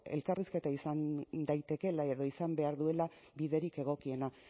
elkarrizketa izan daitekeela edo izan behar duela biderik egokiena